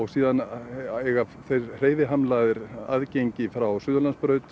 síðan eiga hreyfihamlaðir aðgengi frá Suðurlandsbraut